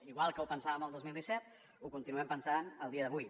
igual que ho pensàvem al dos mil disset ho continuem pensant el dia d’avui